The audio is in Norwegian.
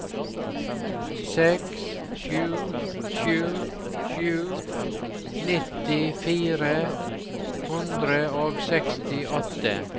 seks sju sju sju nitti fire hundre og sekstiåtte